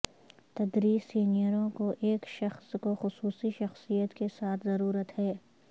تدریس سینئروں کو ایک شخص کو خصوصی شخصیت کے ساتھ ضرورت ہے